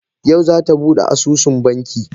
Yau za ta bude asusun banki